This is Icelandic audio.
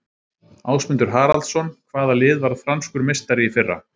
Ásmundur Haraldsson Hvaða lið varð franskur meistari í fyrra?